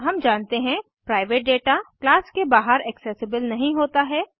हम जानते हैं प्राइवेट डेटा क्लास के बाहर ऐक्सेसेबल नहीं होता है